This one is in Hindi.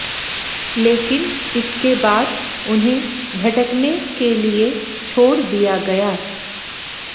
लेकिन इसके बाद उन्हें भटकने के लिए छोड़ दिया गया